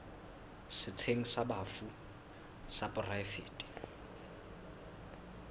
setsheng sa bafu sa poraefete